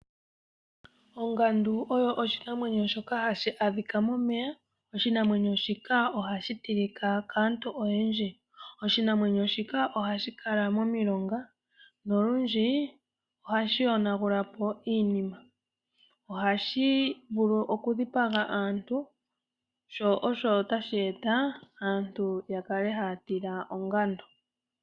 Ongadu oyo oshinamwenyo shoka hashi adhika momeya. Oshinamwenyo shika ohashi tilika kaantu oyendji. Oshinamwenyo shika ohashi kala momilonga nolundju ohashi yonagula po iinima, ohashi vulu okudhipaga aantu sho osho tashi etitha aantu yakale haya tila ongadu.